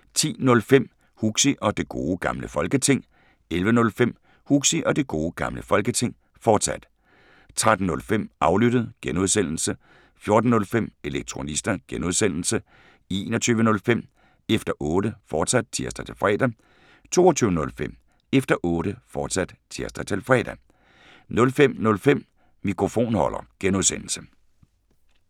10:05: Huxi og Det Gode Gamle Folketing 11:05: Huxi og Det Gode Gamle Folketing, fortsat 13:05: Aflyttet G) 14:05: Elektronista (G) 21:05: Efter Otte, fortsat (tir-fre) 22:05: Efter Otte, fortsat (tir-fre) 05:05: Mikrofonholder (G)